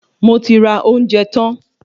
Moti ra ounjẹ tan